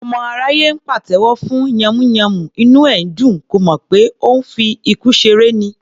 Ọmọ aráyé ńpàtẹ́wọ́ fún yànmùyánmú, inú ẹ̀ ńdùn; kò mọ̀ pé òun ńfi ikú ṣeré ni